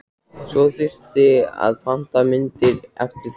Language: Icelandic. Svo þyrfti að panta myndir eftir þeim.